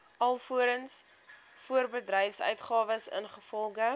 alvorens voorbedryfsuitgawes ingevolge